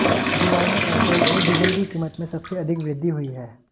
जुलाई में पेट्रोल और डीजल की कीमत में सबसे अधिक वृद्धि हुई है